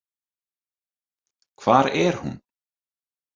Hvar er hún?